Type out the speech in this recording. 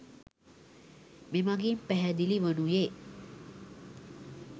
මෙමඟින් පැහැදිලි වනුයේ